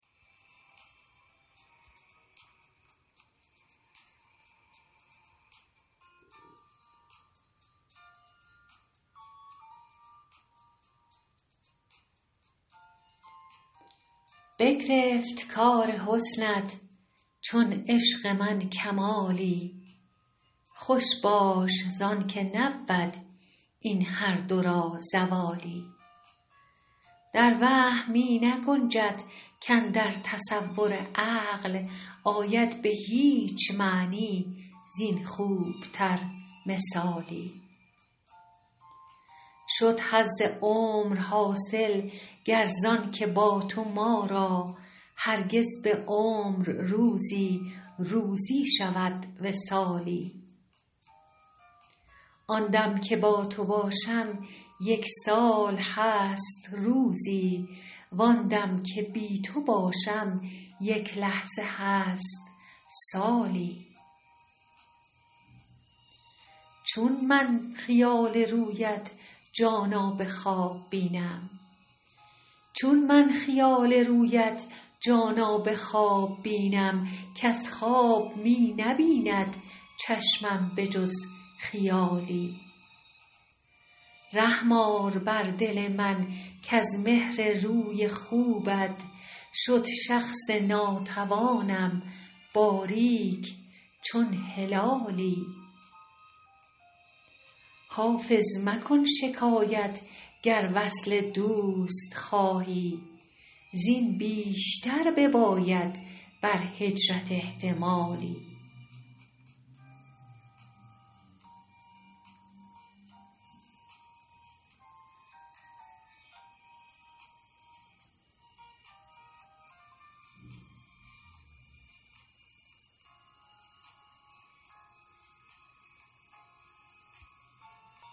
بگرفت کار حسنت چون عشق من کمالی خوش باش زان که نبود این هر دو را زوالی در وهم می نگنجد کاندر تصور عقل آید به هیچ معنی زین خوب تر مثالی شد حظ عمر حاصل گر زان که با تو ما را هرگز به عمر روزی روزی شود وصالی آن دم که با تو باشم یک سال هست روزی وان دم که بی تو باشم یک لحظه هست سالی چون من خیال رویت جانا به خواب بینم کز خواب می نبیند چشمم به جز خیالی رحم آر بر دل من کز مهر روی خوبت شد شخص ناتوانم باریک چون هلالی حافظ مکن شکایت گر وصل دوست خواهی زین بیشتر بباید بر هجرت احتمالی